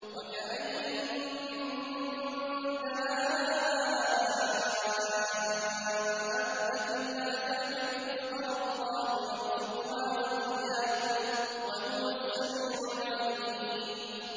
وَكَأَيِّن مِّن دَابَّةٍ لَّا تَحْمِلُ رِزْقَهَا اللَّهُ يَرْزُقُهَا وَإِيَّاكُمْ ۚ وَهُوَ السَّمِيعُ الْعَلِيمُ